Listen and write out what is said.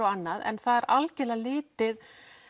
en það er algjörlega litið